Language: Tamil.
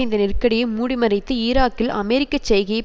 இந்த நெருக்கடியை மூடிமறைத்து ஈராக்கில் அமெரிக்க செய்கையைப்